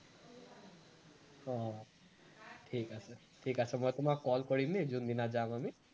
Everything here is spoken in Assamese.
অ ঠিক আছে, ঠিক আছে মই তোমাক call কৰিমেই যোনদিনা যাম আমি